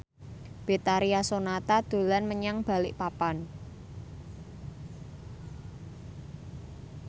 Betharia Sonata dolan menyang Balikpapan